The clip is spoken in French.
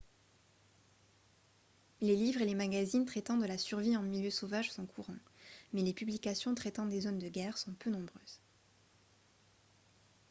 les livres et les magazines traitant de la survie en milieu sauvage sont courants mais les publications traitant des zones de guerre sont peu nombreuses